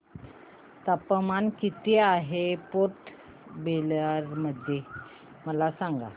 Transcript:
तापमान किती आहे पोर्ट ब्लेअर मध्ये मला सांगा